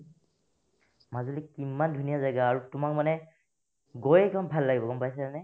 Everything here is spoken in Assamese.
মাজুলি কিমান ধুনীয়া জাগা আৰু তোমাক মানে গৈয়ে কিমান ভাল লাগিব গম পাইছানে ?